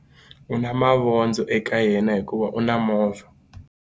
U na mavondzo eka yena hikuva u na movha.